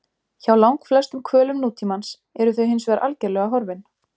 Hjá langflestum hvölum nútímans eru þau hinsvegar algerlega horfin.